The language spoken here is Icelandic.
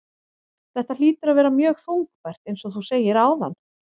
Þetta hlýtur að vera mjög þungbært eins og þú segir áðan?